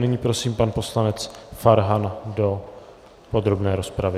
Nyní prosím pana poslance Farhana do podrobné rozpravy.